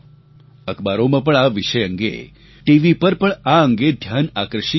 અખબારોમાં પણ આ વિષય અંગે ટીવી પર પણ આ અંગે ધ્યાન આકર્ષિત થાય છે